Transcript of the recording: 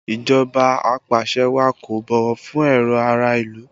Ìjọba apàṣẹwàá kò bọ̀wọ̀ fún èrò ará ìlú